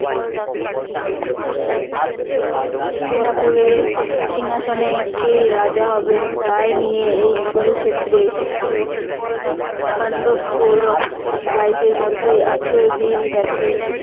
হস্তিনাপুরের সিংহাসনে কে রাজা হবেন তাই নিয়ে এই কুরুক্ষেত্রে পান্ডব কৌরব ভাইদের মধ্যে আঠারো দিন ব্যাপী